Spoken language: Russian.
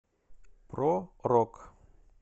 про рок